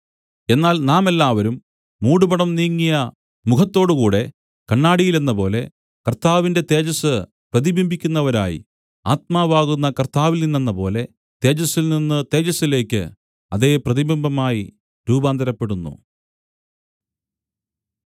എന്നാൽ നാം എല്ലാവരും മൂടുപടം നീങ്ങിയ മുഖത്തോടുകൂടെ കണ്ണാടിയിലെന്നപോലെ കർത്താവിന്റെ തേജസ്സ് പ്രതിബിംബിക്കുന്നവരായി ആത്മാവാകുന്ന കർത്താവിൽനിന്നെന്നപോലെ തേജസ്സിൽ നിന്ന് തേജസ്സിലേക്ക് അതേ പ്രതിബിംബമായി രൂപാന്തരപ്പെടുന്നു